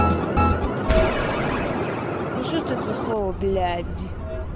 то блядь непонятно какому-то ну что это за слово блядь